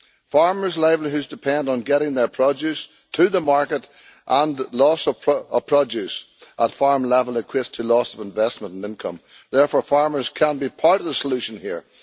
Farmers' livelihoods depend on getting their produce to the market and loss of produce at farm level equates to loss of investment and income. Therefore farmers can be part of the solution here.